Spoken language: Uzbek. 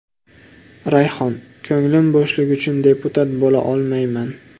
Rayhon: ko‘nglim bo‘shligi uchun deputat bo‘la olmayman.